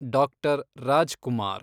doctor Raj Kumar